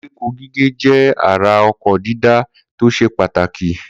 Koríko gígé jẹ́ ara oko dídá tó ṣe pàtàkì.